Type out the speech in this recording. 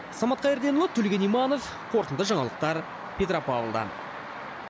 самат қайырденұлы төлеген иманов қорытынды жаңалықтар петропавлдан